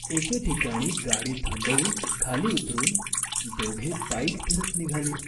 एके ठिकाणी गाडी थांबवून खाली उतरून दोघे पायीच फिरत निघाली.